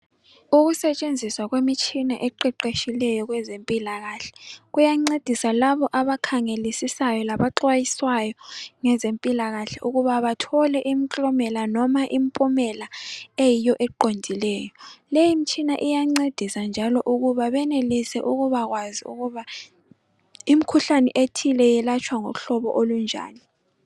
Ukusetshenziswa kwemitshina eqeqetshileyo kwezempilakahle, kuyancedisa labo abakhangelisisa labaxwayiswayo ngezempilakahle ukuba bathole inklomela loba impumela eyiyo eqondileyo. Leyi mtshina iyancedisa njalo ukuba benelise ukubakwazi ukuba imkhuhlane ethile yelatshwa ngomhlobo olunjani.